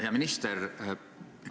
Hea minister!